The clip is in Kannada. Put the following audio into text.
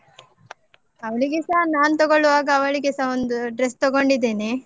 ಅವ್ಳಿಗೆಸ ನಾನ್ ತಗೋಳ್ವಾಗ ಅವಳಿಗೆಸ ಒಂದು dress ತಗೊಂಡಿದ್ದೇನೆ.